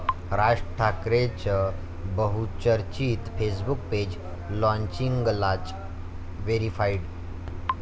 राज ठाकरेंचं बहुचर्चित Facebook page लॉन्चिंगलाच 'व्हेरिफाईड'!